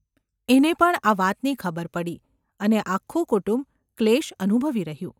એને પણ આ વાતની ખબર પડી અને આખું કુટુંબ ક્લેશ અનુભવી રહ્યું.